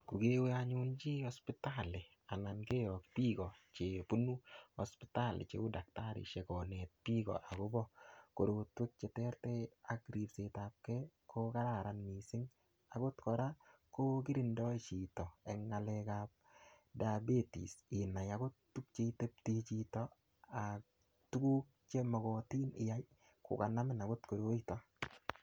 Ko kewee anyun chii hospitali anan keyok biiko chebunu hospitali cheuu takitarishek koneet biik akobo korotwek cheterter ak ribsetabke ko kararan kot mising, akot kora ko kirindoi chito eng ngalekab diabetes inai okot itebte chito ak tukuk chemokotin iyai kokanamin akot koroito.